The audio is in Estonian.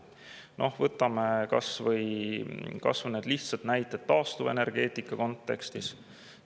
Noh, võtame kas või lihtsad näited taastuvenergeetika kontekstis.